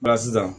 sisan